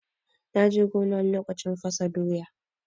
Na je gona lokacin fasa doya.